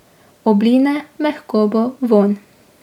Obline, mehkobo, vonj.